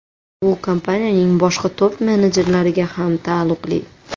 Bu kompaniyaning boshqa top-menejerlariga ham taalluqli.